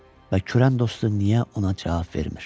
Və kürən dostu niyə ona cavab vermir?